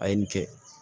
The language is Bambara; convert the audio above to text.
A ye nin kɛ